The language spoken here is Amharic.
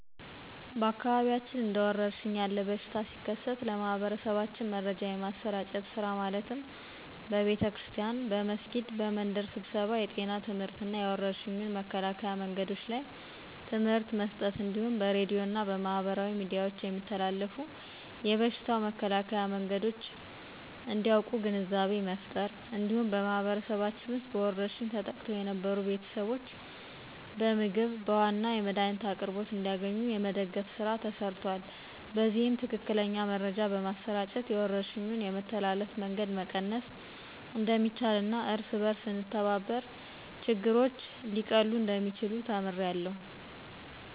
በአካባቢያችን እንደ ወረርሽን ያለ በሽታ ሲከሰት ለማህበረሰባችን መረጃ የማሰራጨት ስራ ማለትም በቤተክርስቲያን፣ በመስጊድ፣ በመንደር ስብሰባ የጤና ትምህርትና የወረርሽኙን መከላከያ መንገዶች ላይ ትምህርት መስጠት እንዲሁም በሬድዮ እና በማህበራዊ ሚዲያዎች የሚተላለፉ የበሽታው መከላከያ መንገዶች እንዲያቁ ግንዛቤ መፍጠር። እንዲሁም በማህበረሰባችን ውስጥ በወረርሽኝ ተጠቅተው የነበሩትን ቤተሰቦች በምግብ፣ በውሀ እና የመድኃኒት አቅርቦት እንዲያገኙ የመደገፍ ስራ ተሰርቷል። በዚህም ትክክለኛ መረጃ በማሰራጨት የወረርሽኙን የመተላለፍ መንገድ መቀነስ እንደሚቻልና እርስ በእርስ ስንተባበር ችግሮች ሊቀሉ እንደሚችሉ ተምሬያለሁ።